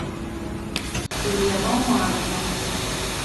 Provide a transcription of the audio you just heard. веломания